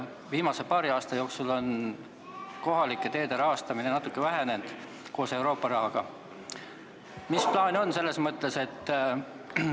Viimase paari aasta jooksul on kohalike teede rahastamine koos Euroopa Liidu rahaga natuke vähenenud.